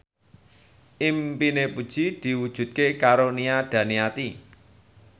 impine Puji diwujudke karo Nia Daniati